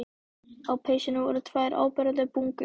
Á peysunni voru tvær áberandi bungur.